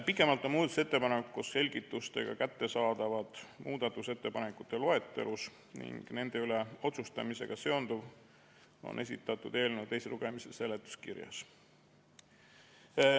Pikemalt on muudatusettepanekud koos selgitustega kättesaadavad muudatusettepanekute loetelus ning nende üle otsustamisega seonduv on esitatud eelnõu teise lugemise seletuskirjas.